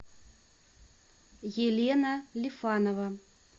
елена лифанова